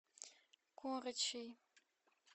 корочей